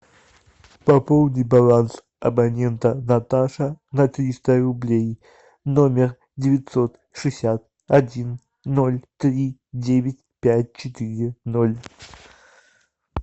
пополни баланс абонента наташа на триста рублей номер девятьсот шестьдесят один ноль три девять пять четыре ноль